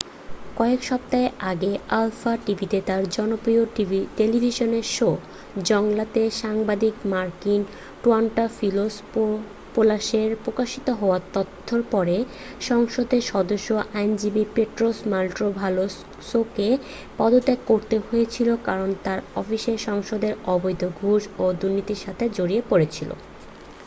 "কয়েক সপ্তাহ আগে আলফা টিভিতে তার জনপ্রিয় টেলিভিশন শো "জৌংলা" তে সাংবাদিক মাকিস ট্রায়ান্টাফিলোপোলাসের প্রকাশিত হওয়া তথ্যের পরে সংসদের সদস্য ও আইনজীবী পেট্রোস মান্টোভালোসকে পদত্যাগ করতে হয়েছিল কারণ তার অফিসের সদস্যরা অবৈধ ঘুষ ও দুর্নীতির সাথে জড়িয়ে পড়েছিল।